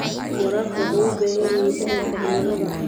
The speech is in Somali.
Waraabka wuxuu u baahan yahay fahamka cimilada.